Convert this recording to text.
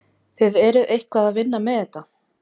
Þið eruð eitthvað að vinna með það?